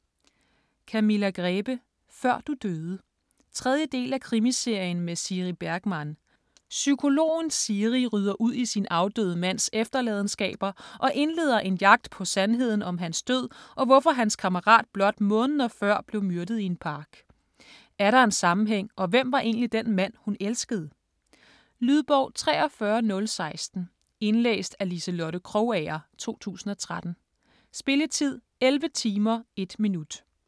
Grebe, Camilla: Før du døde 3. del af Krimiserien med Siri Bergman. Psykologen Siri rydder ud i sin afdøde mands efterladenskaber og indleder en jagt på sandheden om hans død og hvorfor hans kammerat blot måneder før blev myrdet i en park. Er der en sammenhæng og hvem var egentlig den mand, hun elskede? Lydbog 43016 Indlæst af Liselotte Krogager, 2013. Spilletid: 11 timer, 1 minut.